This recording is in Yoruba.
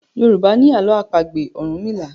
Yorùbá ni àlọ́ àpagbè orunmila.